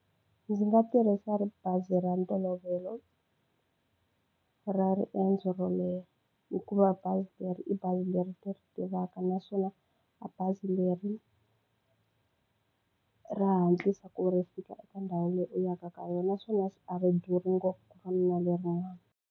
Ndzi nga tirhisa bazi ra ntolovelo, ra riendzo ro leha. Hikuva bazi leri i bazi leri ni ri tivaka naswona bazi leri ra hatlisa ku ri fika eka ndhawu leyi u yaka ka yona. Naswona a ri durhi ngopfu ku fana na lerin'wani.